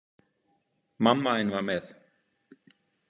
Mamma þín var með.